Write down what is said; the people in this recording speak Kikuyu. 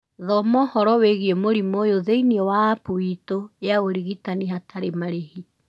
Thoma ũhoro wĩgiĩ mũrimũ ũyũ thĩinĩ wa App itũ ya ũrigitani hatarĩ marĩhi